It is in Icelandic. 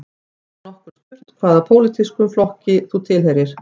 Hefur nokkur spurt hvaða pólitískum flokki þú tilheyrir